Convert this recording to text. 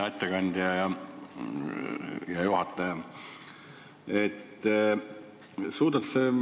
Hea ettekandja!